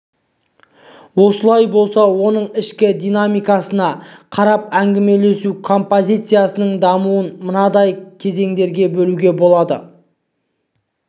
олай болса оның ішкі динамикасына қарап әңгімелесу композициясының дамуын мынадай кезеңдерге бөлуге болады